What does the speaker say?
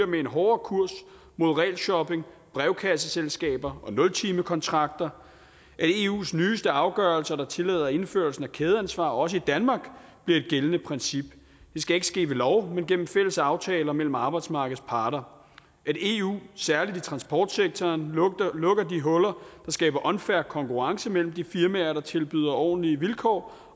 med en hårdere kurs mod regelshopping brevkasseselskaber og nultimekontrakter at eus nyeste afgørelser der tillader indførelsen af kædeansvar også i danmark bliver et gældende princip det skal ikke ske ved lov men gennem fælles aftaler mellem arbejdsmarkedets parter at eu særlig i transportsektoren lukker de huller der skaber unfair konkurrence mellem de firmaer der tilbyder ordentlige vilkår